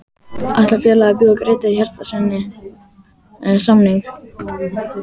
Ætlar félagið að bjóða Grétari Hjartarsyni samning?